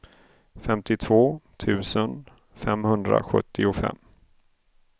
femtiotvå tusen femhundrasjuttiofem